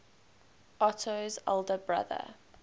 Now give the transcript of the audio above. otto's elder brother